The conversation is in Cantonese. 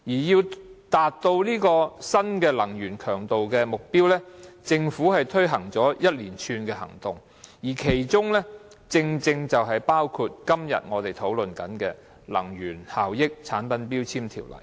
要達到這個新能源強度目標，政府推行了一連串行動，其中正正包括今天我們討論的《能源效益條例》。